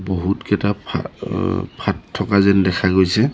বহুতকেইটা ফাট অ ফাট থকা যেন দেখা গৈছে।